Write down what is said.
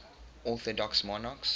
orthodox monarchs